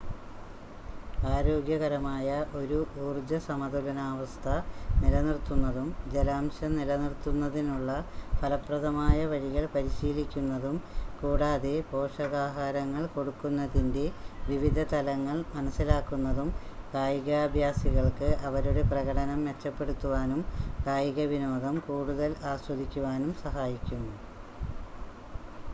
ആരോഗ്യകരമായ ഒരു ഊർജ്ജ സമതുലനാവസ്ഥ നിലനിർത്തുന്നതും ജലാംശം നിലനിർത്തുന്നതിനുള്ള ഫലപ്രദമായ വഴികൾ പരിശീലിക്കുന്നതും കൂടാതെ പോഷകാഹാരങ്ങൾ കൊടുക്കുന്നതിൻറ്റെ വിവിധ തലങ്ങൾ മനസ്സിലാക്കുന്നതും കായികാഭ്യാസികൾക്ക് അവരുടെ പ്രകടനം മെച്ചപ്പെടുത്തുവാനും കായികവിനോദം കൂടുതൽ ആസ്വദിക്കുവാനും സഹായിക്കും